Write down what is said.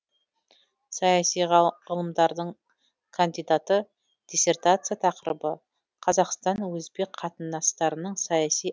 саяси ғылымдардың кандидаты диссертация тақырыбы қазақстан өзбек қатынастарының саяси